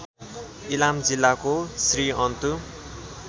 इलाम जिल्लाको श्रीअन्तु